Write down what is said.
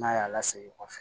N'a y'a la segin kɔfɛ